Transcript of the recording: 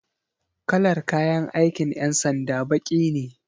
Kalar kayan aikin 'yan sanda baki ne